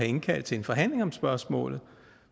indkaldt til en forhandling om spørgsmålet